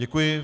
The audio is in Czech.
Děkuji.